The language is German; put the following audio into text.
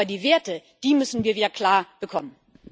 Aber die Werte müssen wir wieder klar bekommen.